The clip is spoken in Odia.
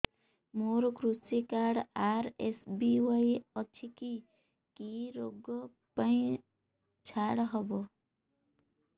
ମୋର କୃଷି କାର୍ଡ ଆର୍.ଏସ୍.ବି.ୱାଇ ଅଛି କି କି ଋଗ ପାଇଁ ଛାଡ଼ ହବ